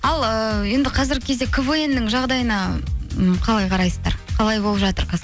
ал ыыы енді қазіргі кезде квн ның жағдайына м қалай қарайсыздар қалай болып жатыр қазір